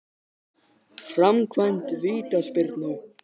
Framkvæmd vítaspyrnu?